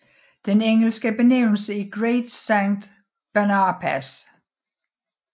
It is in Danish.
Den engelske benævnelse er Great Saint Bernard Pass